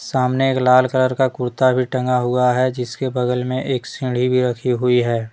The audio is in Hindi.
सामने एक लाल कलर का कुर्ता भी टंगा हुआ है जिसके बगल में एक सीढ़ी भी रखी हुई है।